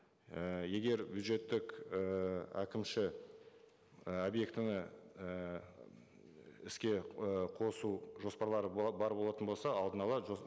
і егер бюджеттік ііі әкімші і объектіні і іске і қосу жоспарлары бар болатын болса алдын ала